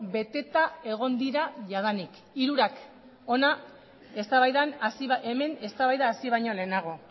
beteta egon dira jadanik hirurak hemen eztabaida hasi baino lehenago